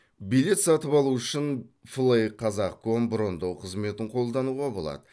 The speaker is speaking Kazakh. билет сатып алу үшін флейқазақ ком брондау қызметін қолдануға болады